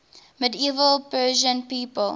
medieval persian people